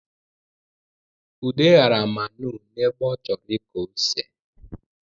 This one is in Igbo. Ude ghara manụ n’ebe ọ chọrọ ịkọ ose